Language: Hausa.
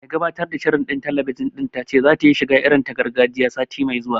Mai gabatar da shirin talabijin ɗin ta ce zata yi shiga irin ta gargajiya, sati mai zuwa